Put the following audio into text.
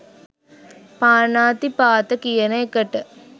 පාණාතිපාත කියන එකට